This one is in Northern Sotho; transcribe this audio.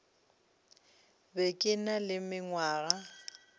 be ke na le mengwaga